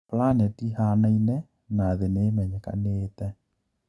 Planet ihanaine na thii niimenyekanite.